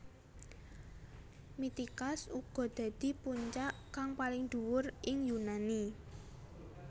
Mitikas uga dadi puncak kang paling dhuwur ing Yunani